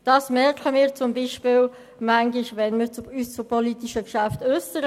Das merken wir zum Beispiel manchmal, wenn wir uns zu politischen Geschäften äussern.